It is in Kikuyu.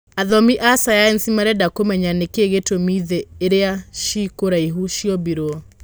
Athomi a cayanici marenda kũmenya nĩkĩĩ gĩtũmi thĩ iria ciĩkũraihu ciombirwo.